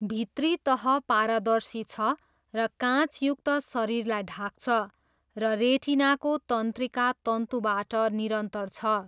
भित्री तह पारदर्शी छ र काँचयुक्त शरीरलाई ढाक्छ, र रेटिनाको तन्त्रिका तन्तुबाट निरन्तर छ।